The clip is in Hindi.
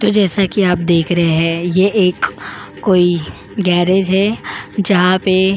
तो जैसा कि आप देख रहे हैं ये एक कोई गेरेज है जहां पे --